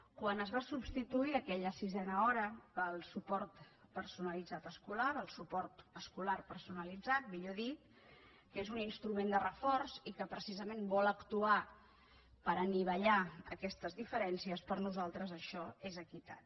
quan es va substituir aquella sisena hora pel suport escolar personalitzat que és un instrument de reforç i que precisament vol actuar per anivellar aquestes diferències per nosaltres això és equitat